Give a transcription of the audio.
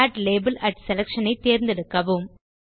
add label add selection ஐதேர்ந்தெடுக்கவும்